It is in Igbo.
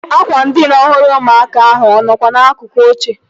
Ákwà ndịna ọhụrụ ụmụaka ahụ ọ nọkwa n'akụkụ oche?